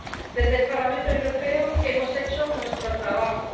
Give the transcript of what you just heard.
Desde el Parlamento Europeo hemos hecho nuestro trabajo.